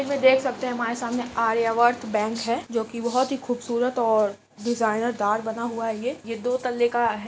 Image में देख सकते है हमारे सामने आर्यावर्त बैंक है जोकि बहुत ही खूबसूरत और डिजाइनर द्वार बना हुआ है ये ये दो तल्ले का है।